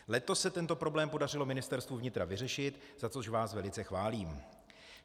Letos se tento problém podařilo Ministerstvu vnitra vyřešit, za což vás velice chválím.